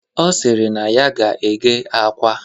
Ọ sịrị na ya ga-eghe akwa